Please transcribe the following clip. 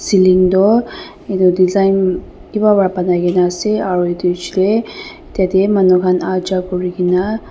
Ceiling tuh etu design kiba para banaikena ase aro etu bechidey tatey manu khan aha jha kurikena--